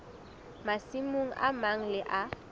masimong a mang le a